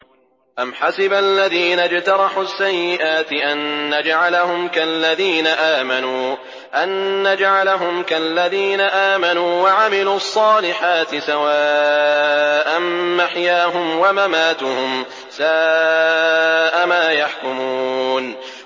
أَمْ حَسِبَ الَّذِينَ اجْتَرَحُوا السَّيِّئَاتِ أَن نَّجْعَلَهُمْ كَالَّذِينَ آمَنُوا وَعَمِلُوا الصَّالِحَاتِ سَوَاءً مَّحْيَاهُمْ وَمَمَاتُهُمْ ۚ سَاءَ مَا يَحْكُمُونَ